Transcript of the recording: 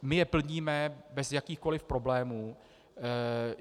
My je plníme bez jakýchkoli problémů.